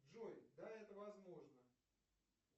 джой да это возможно